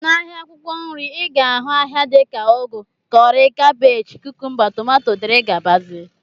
N'ahịa akwụkwọ nri, I ga-ahụ ahịa dị ka ugu, kọrị, kabej, kukumba, tomato, dg